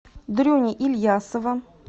дрюни ильясова